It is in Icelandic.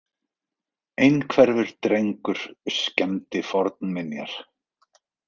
Einhverfur drengur skemmdi fornminjar